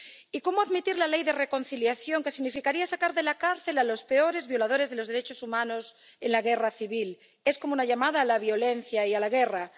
Y ¿cómo admitir la Ley de Reconciliación, que significaría sacar de la cárcel a los peores violadores de los derechos humanos en la guerra civil? Es como una llamada a la violencia y a la guerra.